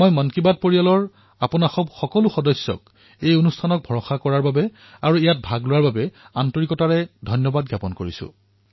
মই মন কী বাত পৰিয়ালৰ আপোনালোক সমূহ সদস্যই ইয়াৰ ওপৰত প্ৰদৰ্শন কৰা বিশ্বাস আৰু ইয়াত অংশগ্ৰহণ বৃদ্ধি কৰাৰ বাবে অন্তঃকৰণে ধন্যবাদ জনাইছো